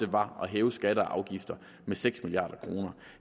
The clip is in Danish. var at hæve skatter og afgifter med seks milliard kr